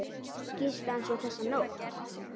Gisti hann svo þessa nótt?